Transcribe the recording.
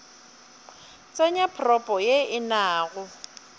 tsenya propo ye e nago